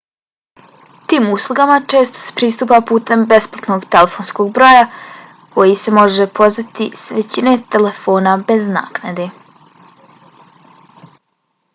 tim uslugama često se pristupa putem besplatnog telefonskog broja kojij se može pozvati s većine telefona bez naknade